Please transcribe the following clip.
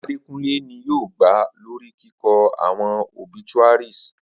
Adekunle ni yoo gba lori kikọ awọn obituaries